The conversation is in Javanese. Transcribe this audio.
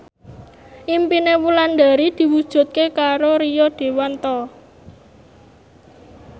impine Wulandari diwujudke karo Rio Dewanto